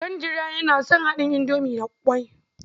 Kandira yana son haɗin indomi da ƙwai.